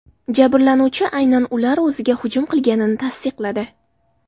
Jabrlanuvchi aynan ular o‘ziga hujum qilganini tasdiqladi.